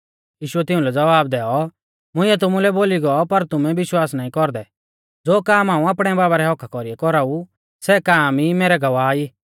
यीशुऐ तिउंलै ज़वाब दैऔ मुंइऐ तुमुलै बोली गौ पर तुमै विश्वास ई ना कौरदै ज़ो काम हाऊं आपणै बाबा रै हक्क्का कौरीऐ कौराऊ सै काम ई मैरै गवाह ई